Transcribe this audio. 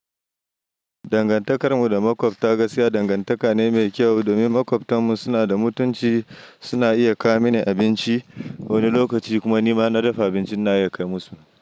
Dangantakar mu da maƙwabta gaskiya dangantaka ne mai kyau domin maƙwabtan mu suna da mutunci, suna iya kawo mini abinci wani lokaci kuma ni ma inna dafa abinci ina iya kai musu.